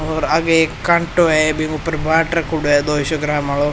ओर आगे एक कांटो है जीमे ऊपर बाँट रख्यो है दो सौ ग्राम वालो।